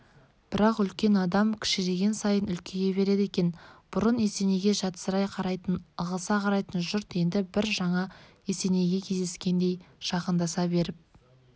бірақ үлкен адам кішірейген сайын үлкейе береді екен бұрын есенейге жатсырай қарайтын ығыса қарайтын жұрт енді бір жаңа есенейге кездескендей жақындаса беріп